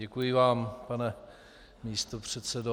Děkuji vám, pane místopředsedo.